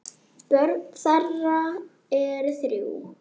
Börn þeirra eru þrjú.